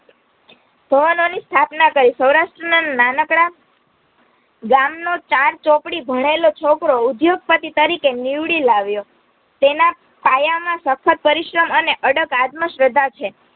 ની સ્થાપન કરી સૌરાષ્ટ્રના નાનકડા ગામ નો ચારચોપડી ભણેલો છોકરો ઉદ્યોગપતિ તરીકે નીવડી લાવ્યો તેના પાયામાં સખદ પરિશ્રમ અને અડક આત્મશ્રદ્ધા છે